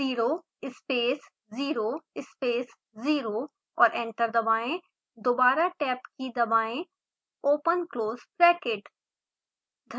0 space 0 space 0और enter दबाएं दोबारा tab की key दबाएं ओपन क्लोज़ ब्रैकेट